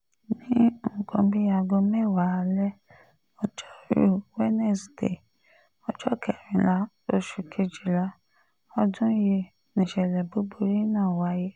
ní nǹkan bíi aago mẹ́wàá alẹ́ ọjọ́rùú wíṣídẹ̀ẹ́ ọjọ́ kẹrìnlá oṣù kejìlá ọdún yìí nìṣẹ̀lẹ̀ búburú náà wáyé